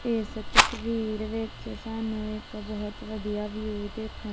ਏਸ ਤਸਵੀਰ ਵਿੱਚ ਸਾਨੂੰ ਇੱਕ ਬਹੁਤ ਵਧੀਆ ਵਿਊ ਦੇਖਨ--